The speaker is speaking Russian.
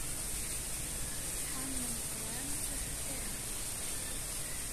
анна николаевна кочеткова